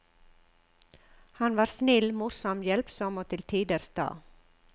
Han var snill, morsom, hjelpsom og til tider sta.